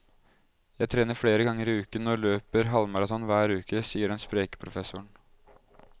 Jeg trener flere ganger i uken og løper halvmaraton hver uke, sier den spreke professoren.